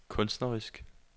kunstnerisk